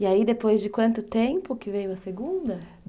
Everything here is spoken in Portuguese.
E aí depois de quanto tempo que veio a segunda?